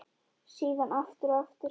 Síðan aftur og aftur.